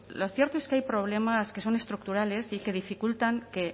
lo cierto es que hay problemas que son estructurales y que dificultan que